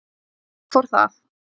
Þar fór það!